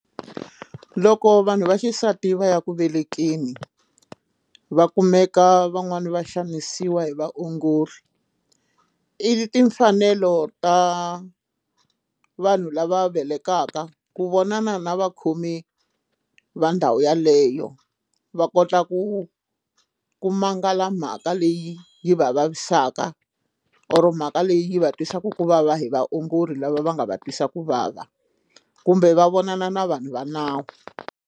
Loko vanhu va xisati va ya ku velekeni va kumeka van'wani va xanisiwa hi vaongori i timfanelo ta vanhu lava velekiwaka ku vonana na vakhomi va ndhawu yeleyo va kota ku ku mangala mhaka leyi yi va vavisaka or mhaka leyi va twisaka ku vava hi vaongori lava va nga va twisa ku vava kumbe va vonana na vanhu va nawu.